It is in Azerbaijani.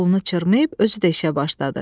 Qolunu çırmayıb özü də işə başladı.